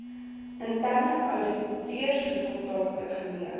interne ouditresultate geen